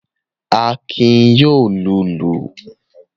Akin yóò lùlù.